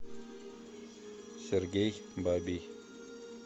сергей бабий